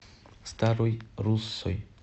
старой руссой